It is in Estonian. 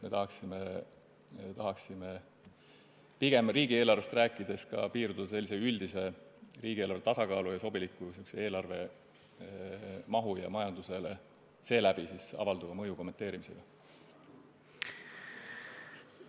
Me tahaksime riigieelarvest rääkides piirduda pigem sellise üldise riigieelarve tasakaalu ja sobiliku eelarvemahu ning seeläbi majandusele avalduva mõju kommenteerimisega.